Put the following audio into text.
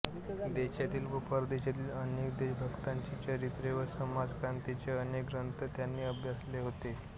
देशातील व परदेशातील अनेक देशभक्तांची चरित्रे व समाजक्रांतीचे अनेक ग्रंथ त्यांनी अभ्यासले होते